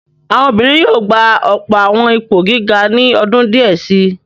Àwọn obìnrin yóò gba ọ̀pọ̀ àwọn ipò gíga ní ọdún díẹ̀ si.